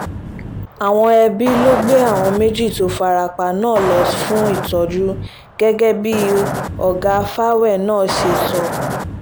àwọn ẹbí ló gbé àwọn méjì tó fara pa náà lọ fún ìtọ́jú gẹ́gẹ́ bí ọ̀gá farrell náà ṣe sọ